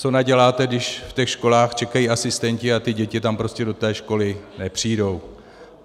Co naděláte, když v těch školách čekají asistenti, a ty děti tam prostě do té školy nepřijdou?